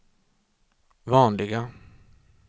vanliga